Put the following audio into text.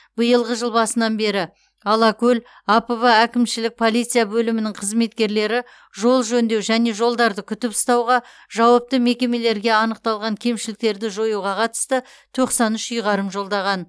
биылғы жыл басынан алакөл апб әкімшілік полиция бөлімінің қызметкерлері жол жөндеу және жолдарды күтіп ұстауға жауапты мекемелерге анықталған кемшіліктерді жоюға қатысты тоқсан үш ұйғарым жолдаған